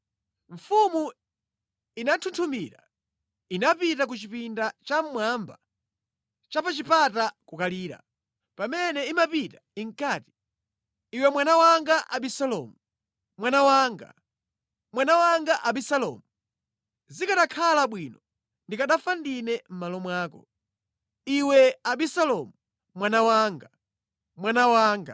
Mfumu inanthunthumira. Inapita ku chipinda cha mmwamba cha pa chipata kukalira. Pamene imapita, inkati: “Iwe mwana wanga Abisalomu! Mwana wanga! Mwana wanga Abisalomu! Zikanakhala bwino ndikanafa ndine mʼmalo mwako! Iwe Abisalomu, mwana wanga, mwana wanga!”